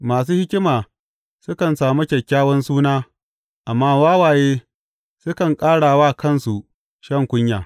Masu hikima sukan sami kyakkyawan suna, amma wawaye sukan ƙara wa kansu shan kunya.